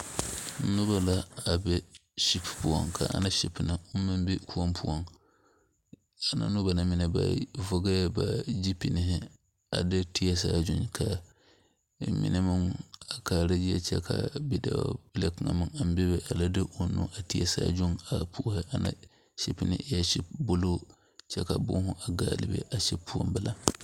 Noba la a be gbori poɔ, ka ana gbori na meŋ be koɔ poɔŋ ana noba na vɔgeli la ba zupile a de teɛ saazu ka ba mine meŋ a kaara zie kyɛ kyɛ ka bidɔɔbile kaŋa meŋ aŋ bebe a la de o nu teɛ Saazu a puoro ana gbori na eɛ buluu kyɛ ka boma be a gbori poɔ bela.